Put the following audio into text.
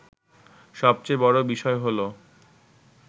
সবচেয়ে বড় বিষয় হলো